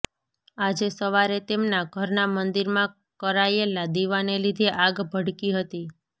આજે સવારે તેમના ઘરના મંદિરમાં કરાયેલા દીવાને લીધે આગ ભડકી હતી